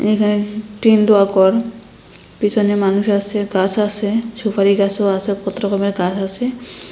এখানে টিন দোয়া গর পিছনে মানুষ আসে গাস আসে সুপারি গাসও আসে কত রকমের গাস আসে।